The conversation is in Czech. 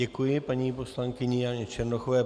Děkuji paní poslankyni Janě Černochové.